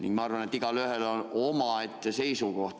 Igaühel on omaette seisukoht.